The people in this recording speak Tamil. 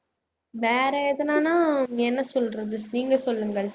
வேற எதுனானா என்ன சொல்றது நீங்க சொல்லுங்கள்